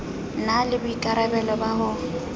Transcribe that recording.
na le boikarabelo ba ho